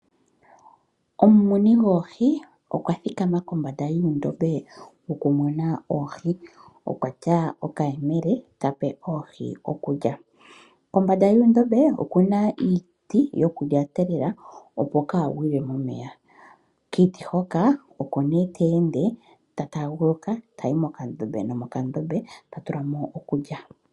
Omumuni goohi okwa thikama kombanda yoondombe dhokumuna oohi. Okuna okayemele ta pe oohi okulya. Kombanda yoondombe oku na iiti yokulyatelela opo kaa gwile momeya. Kiiti hoka oko nee ta ende ta taaguluka tayi mokandombe nokandombe ta tula mo okulya.